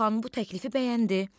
Xan bu təklifi bəyəndi.